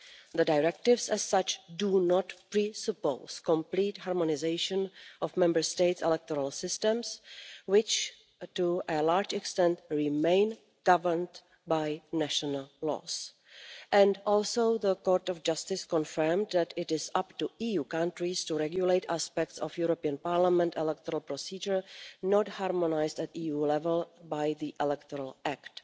The Directives as such do not presuppose complete harmonisation of Member States' electoral systems, which, to a large extent, remain governed by national laws. Also, the Court of Justice confirmed that it is up to EU countries to regulate aspects of European Parliament electoral procedure not harmonised at EU level by the Electoral Act.